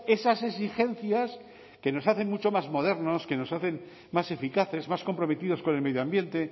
esas exigencias que nos hacen mucho más modernos que nos hacen más eficaces más comprometidos con el medio ambiente